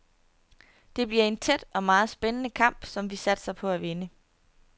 Det bliver en tæt og meget spændende kamp, som vi satser på at vinde.